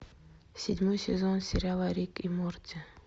седьмой сезон сериала рик и морти